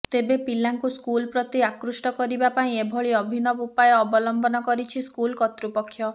ତେବେ ପିଲାଙ୍କୁ ସ୍କୁଲ ପ୍ରତି ଆକୃଷ୍ଟ କରିବା ପାଇଁ ଏଭଳି ଅଭିନବ ଉପାୟ ଅବଲମ୍ବନ କରିଛି ସ୍କୁଲ କର୍ତ୍ତୃପକ୍ଷ